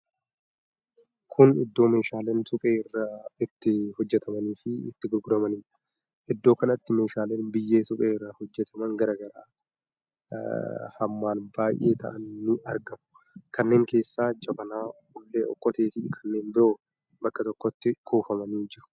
Kun iddoo meeshaaleen suphee irraa itti hojjatamanii fi itti gurguramanidha. Iddoo kanatti meeshaaleen biyyee suphee irraa hojjataman garaa garaa hammaan baay'ee ta'an nii argamu. Kanneen keessaa jabanaa, hullee, okkotee fi kanneen biroo bakka tokkotti kuufamanii jiru.